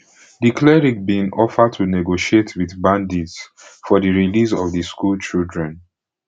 di cleric bin offer to negotiate wit bandits for di release of di schoolchildren